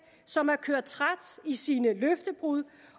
som er kørt træt i sine løftebrud